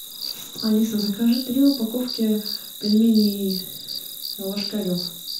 алиса закажи три упаковки пельменей ложкарев